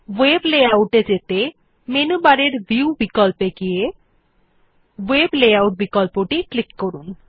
ভেব layout এ যেতে menu বারের ভিউ বিকল্পে গিয়ে ভেব লেআউট বিকল্পে ক্লিক করুন